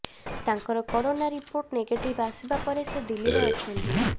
ତାଙ୍କର corona report negative ଆସିବା ପରେ ସେ ଦିଲ୍ଲୀରେ ଅଛନ୍ତି